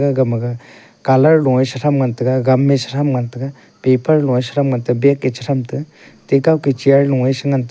agam ma ga colour lo ae sa tham ngan taega gamme satham ngan taega paper lo ae satham ngan tae bag ae che tham te tekao ke chair lo ae che ngan tae.